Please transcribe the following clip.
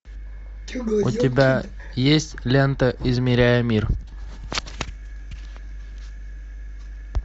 у тебя есть лента измеряя мир